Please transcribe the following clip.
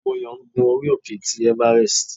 Moyo ń gún orí òkè tí everest.